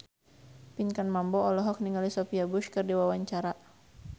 Pinkan Mambo olohok ningali Sophia Bush keur diwawancara